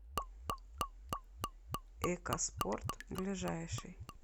экоспорт ближайший